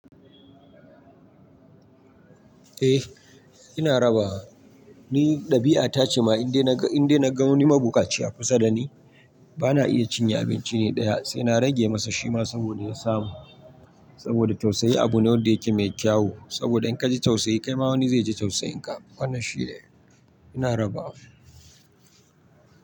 Eh ina rabawa. Ni ɗabi'a ta ce ma in dai na ga, in dai na ga wani magukaci a kusa da ni, bana iya cinye abinci ne ɗaya sai na rage masa shima saboda ya samu. Saboda tausayi abu ne wanda yake mai kyau. Saboda in ka ji tausayi kai ma wani zai ji tausayinka. Wannan shi ne ina rabawa.